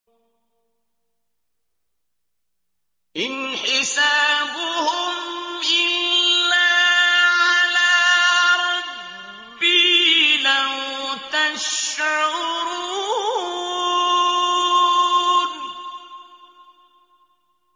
إِنْ حِسَابُهُمْ إِلَّا عَلَىٰ رَبِّي ۖ لَوْ تَشْعُرُونَ